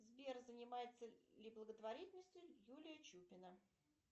сбер занимается ли благотворительностью юлия чупина